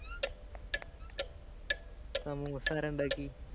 സമൂസ ആരാ ഇണ്ടാക്കി